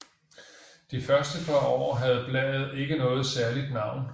De første par år havde bladet ikke noget særligt navn